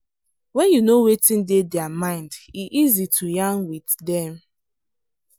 when you know wetin dey their mind e easy to yarn with dem.